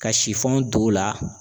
Ka d'o la